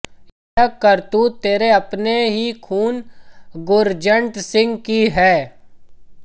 यह करतूत तेरे अपने ही खून गुरजन्ट सिंह की है